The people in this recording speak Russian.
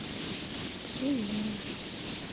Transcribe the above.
свинина